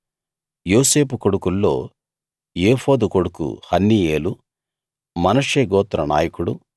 యోసేపు కొడుకుల్లో ఏఫోదు కొడుకు హన్నీయేలు మనష్షే గోత్ర నాయకుడు